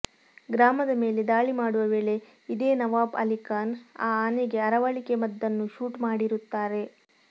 ಗ್ರಾಮದ ಮೇಲೆ ದಾಳಿ ಮಾಡುವ ವೇಳೆ ಇದೇ ನವಾಬ್ ಅಲಿಖಾನ್ ಆ ಆನೆಗೆ ಅರವಳಿಕೆ ಮದ್ದನ್ನು ಶೂಟ್ ಮಾಡಿರುತ್ತಾರೆ